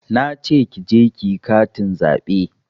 Nace ki je kiyi katin zaɓe